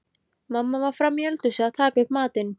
Mamma var frammí eldhúsi að taka upp matinn.